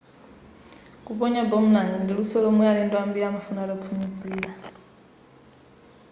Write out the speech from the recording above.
kuponya boomerang ndi luso lomwe alendo ambiri amafuna ataphunzira